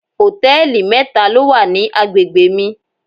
Hòtẹ́lìì mẹ́ta ló wà ní agbègbè mi.